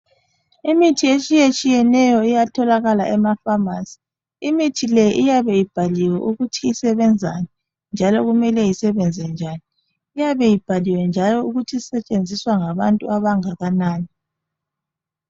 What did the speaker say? Imithi etshiyetshiyeneyo iyatholakala emaPhamarcy imithi le iyabe ibhaliwe ukuthi isebenzani njalo kumele isebenze njani, iyabe ibhaliwe njalo ukuthi isetshenziswa ngabantu abangakanani